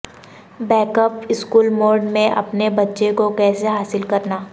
back up school mode میں اپنے بچے کو کیسے حاصل کرنا